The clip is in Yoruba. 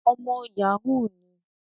Ọmọ Yahoo ni